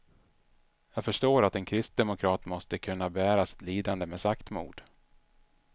Jag förstår att en kristdemokrat måste kunna bära sitt lidande med saktmod.